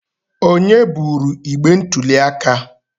Onye buru igbe ntuli aka?